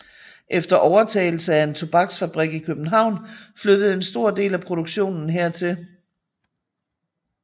Efter overtagelse af en tobaksfabrik i København flyttede en stor del af produktionen hertil